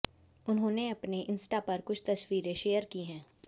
उन्होंने अपने इंस्टा पर कुछ तस्वीरें शेयर की हैं